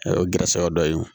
O gɛrɛsɛgɛ dɔ ye o